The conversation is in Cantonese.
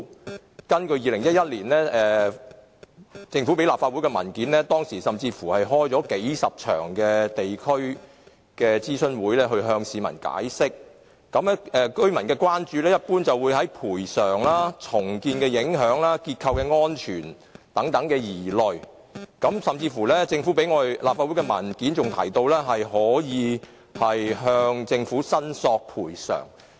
根據政府在2011年提交立法會的文件，當時曾舉行數十場地區諮詢會向市民作出解釋，居民所關注的一般是有關賠償、重建影響和結構安全等的疑慮，而政府提交立法會的文件甚至提到可向政府申索賠償。